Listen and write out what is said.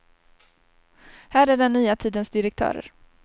Här är den nya tidens direktörer.